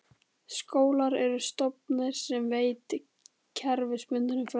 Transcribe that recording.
Skólar eru stofnanir sem veita kerfisbundna fræðslu.